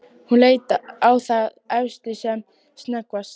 Hún leit á þá efstu sem snöggvast.